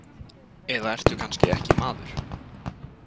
Eða ertu kannski ekki maður?